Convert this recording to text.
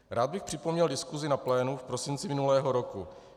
Rád bych připomněl diskusi na plénu v prosinci minulého roku.